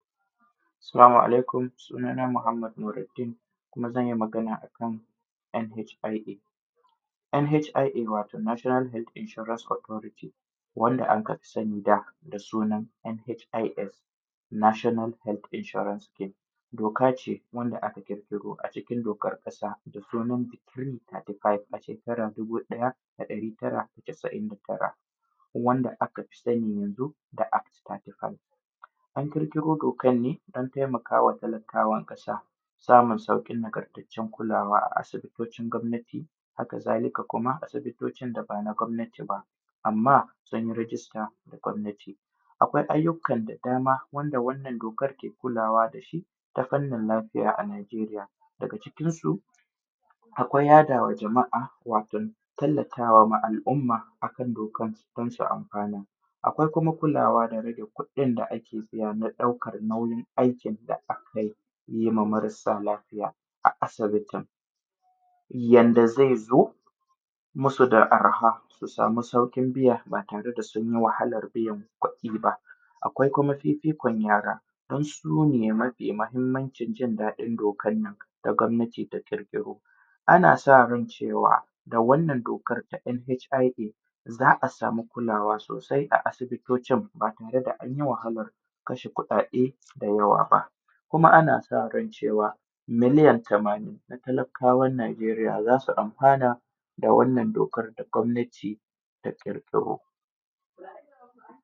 Salamu alaikum, suna na Muhammad Nuraddeen kuma zan yi Magana akan NHIA. NHIA wato Nation Health Insuarance Authority, wanda anka fi sani da sunan NHIS National Health Insuarane Scheme. Doka ce wanda aka ƙirƙiro acikin dokar ƙasa da sunan decree thirthy five a shekarar dubu ɗaya da ɗari tara da casa’in da tara, wanda aka fi sani yanzu da act thirty five. An ƙirƙiro dokan ne do taimakawa talakawan ƙasa samun sauƙin nagartaccen kulawa a asibitocin gwamnati. Haka zalika kuma asibitocin da ban a gwamnati ba amma sun yi register da na gwamnati. Akwai ayyukan da dama wanda wannan dokar ke kulawa da shi ta fannin lafiya a Nigeria, daga cikinsu akwai yaɗawa jama’a wato tallatawa al’umma akan dokan don su amfana. Akwai kuma kulawa tare da kuɗin da ake biya na ɗaukan nauyin aikin da aka yi wa marasa lafiya a asibitin, yanda zai zo masu da arha su samu sauƙin biya ba tare da sun yi wahalar biyan kuɗi ba. Akwai kuma fifikon yara, dan su ne mafi mahmmancin jin daɗin dokan nan da gwamnati ta ƙirƙiro. Ana sa ran cewa, da wannan dokar ta NHIA za a samu kulawa sosai a asibitocin ba tare da anyi wahalar kasha kuɗaɗe dayawa ba, kuma ana sa ran cewa miliyan tamanin na talakkawan Nigeria za su amfana da wannan dokar da gwamnati ta ƙirƙiro.